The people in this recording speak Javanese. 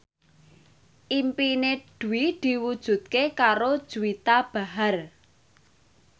impine Dwi diwujudke karo Juwita Bahar